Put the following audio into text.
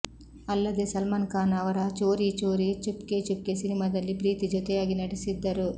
ಅಲ್ಲದೇ ಸಲ್ಮಾನ್ ಖಾನ್ ಅವರ ಚೋರಿ ಚೋರಿ ಚುಪ್ಕೆ ಚುಪ್ಕೆ ಸಿನಿಮಾದಲ್ಲಿ ಪ್ರೀತಿ ಜೊತೆಯಾಗಿ ನಟಿಸಿದ್ದರು